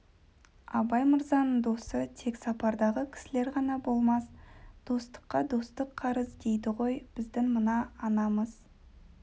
абай мырзаның досы тек сапардағы кісілер ғана болмас достыққа достық қарыз дейді ғой біздің мына анамыз